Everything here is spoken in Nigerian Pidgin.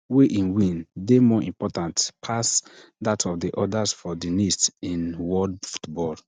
wey im win dey more important pass dat of di odas for di list in world football